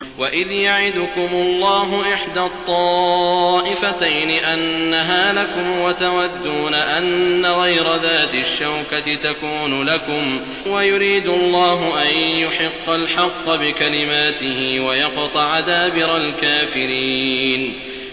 وَإِذْ يَعِدُكُمُ اللَّهُ إِحْدَى الطَّائِفَتَيْنِ أَنَّهَا لَكُمْ وَتَوَدُّونَ أَنَّ غَيْرَ ذَاتِ الشَّوْكَةِ تَكُونُ لَكُمْ وَيُرِيدُ اللَّهُ أَن يُحِقَّ الْحَقَّ بِكَلِمَاتِهِ وَيَقْطَعَ دَابِرَ الْكَافِرِينَ